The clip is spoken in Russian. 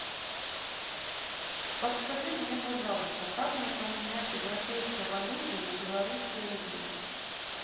подскажи мне пожалуйста как мне поменять европейской валюты на белорусские рубли